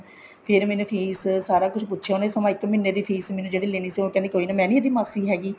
ਫ਼ੇਰ ਮੈਨੂੰ ਕੀ ਸਾਰਾ ਕੁੱਝ ਪੁੱਛਿਆ ਉਹਨੇ ਸਮਾਂ ਇੱਕ ਮਹੀਨੇ ਦੀ fees ਜਿਹੜੀ ਲੈਣੀ ਸੀ ਉਹ ਕਹਿੰਦੀ ਕੋਈ ਨਾ ਮੈਂ ਨੀ ਇਹਦੀ ਮਾਸੀ ਹੈਗੀ